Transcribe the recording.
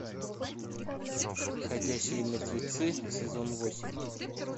ходячие мертвецы сезон восемь